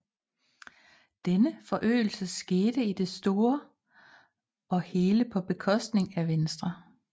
Denne forøgelse skete i det store og hele på bekostning af Venstre